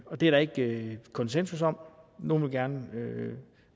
og det er der ikke konsensus om nogle vil gerne